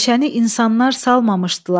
Meşəni insanlar salmamışdılar.